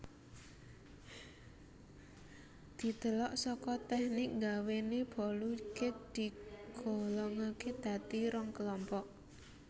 Didelok saka teknik nggawéne bolu cake digolongakè dadi rong kelompok